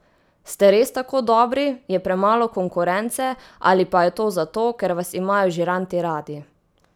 Ste res tako dobri, je premalo konkurence ali pa je to zato, ker vas imajo žiranti radi?